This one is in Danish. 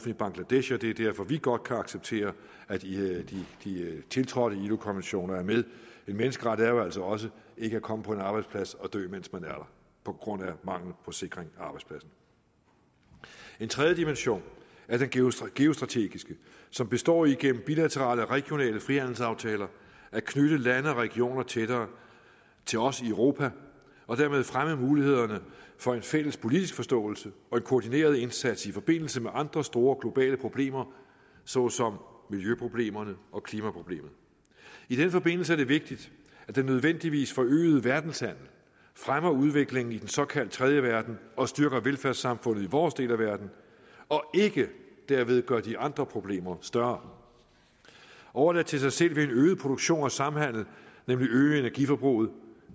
i bangladesh og det er derfor vi godt kan acceptere at de tiltrådte ilo konventioner er med en menneskerettighed er jo altså også ikke at komme på en arbejdsplads og dø mens man er der på grund af mangel på sikring af arbejdspladsen en tredje dimension er den geostrategiske som består i gennem bilaterale og regionale frihandelsaftaler at knytte lande og regioner tættere til os i europa og dermed fremme mulighederne for en fælles politisk forståelse og en koordineret indsats i forbindelse med andre store globale problemer såsom miljøproblemerne og klimaproblemet i den forbindelse er det vigtigt at den nødvendigvis forøgede verdenshandel fremmer udvikling i den såkaldt tredje verden og styrker velfærdssamfundet i vores del af verden og ikke derved gør de andre problemer større overladt til sig selv vil en øget produktion og samhandel nemlig øge energiforbruget